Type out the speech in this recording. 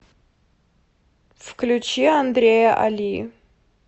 включи андрея али